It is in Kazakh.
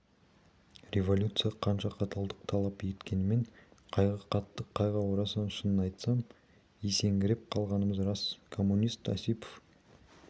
революция қанша қаталдық талап еткенмен қайғы қатты қайғы орасан шынын айтсам есеңгіреп қалғанымыз рас коммунист осипов